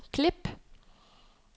klip